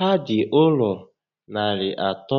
Ha dị ụlọ narị atọ